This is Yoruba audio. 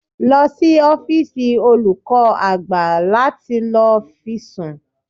Lọ sí ọ́fíìsì olùkọ́ àgbà láti lọ fi sùn